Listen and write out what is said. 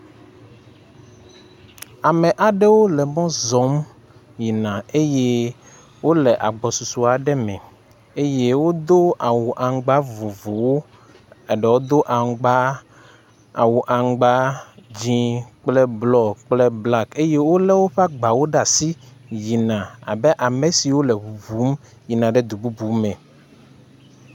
Ame aɖewo le mɔ zɔm yina eye wole agbɔsɔsɔ aɖe me eye wodo awu aŋugba vovovovowo. Eɖewo do aŋugba...awu aŋugba dzɛ̃ kple blɔ kple black eye wolé woƒe agbawo ɖe asi yina abe ame siwo le ŋuŋum yina du bubu me.